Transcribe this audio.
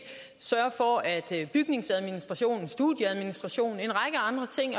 sørge for at bygningsadministrationen studieadministrationen